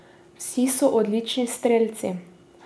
Vsi so odlični strelci.